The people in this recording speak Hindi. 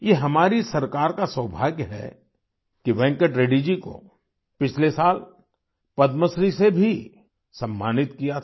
ये हमारी सरकार का सौभाग्य है कि वेंकट रेड्डी जी को पिछले साल पद्मश्री से भी सम्मानित किया था